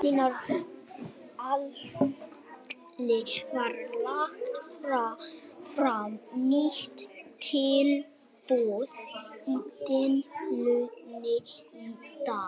Gunnar Atli: Var lagt fram nýtt tilboð í deilunni í dag?